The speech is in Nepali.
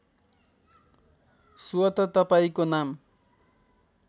स्वत तपाईँको नाम